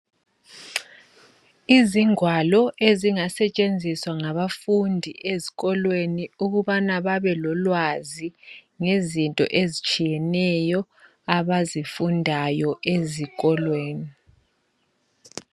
Izingwalo ezingasetshenziswa ngabafundi ezikolweni ukubana babelolwazi ngezinto ezitshiyeneyo abazifundayo esikolweni.